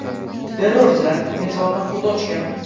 Terrorchilar bunga javoban o‘t ochgan.